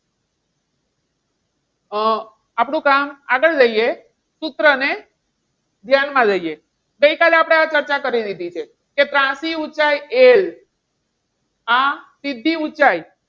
અમ આપણું કામ આગળ લઈએ. સૂત્રને ધ્યાનમાં લઈએ. ગઈકાલે આપણે આ ચર્ચા કરી લીધી છે. કે ત્રાંસી ઊંચાઈ L આ સીધી ઊંચાઈ,